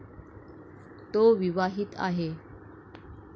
तो विवाहित आहे.